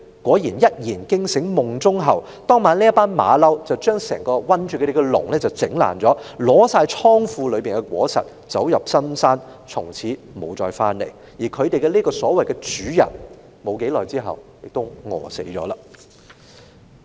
"小猴子一言驚醒夢中猴，當晚這群猴子便把困住牠們的籠子毀爛，取去倉庫裏面的所有果實，走入深山，從此不再回來，而牠們這個所謂的主人沒多久亦餓死了。